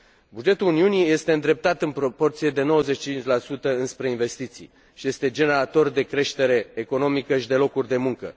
Bugetul Uniunii este îndreptat în proporție de 95 înspre investiții și este generator de creștere economică și de locuri de muncă.